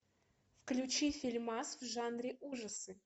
включи фильмас в жанре ужасы